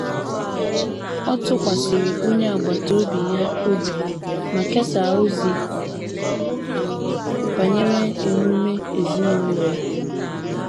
Ọ tụkwasịrị onye agbata obi ya obi ma kesaa ozi banyere emume ezinụlọ ya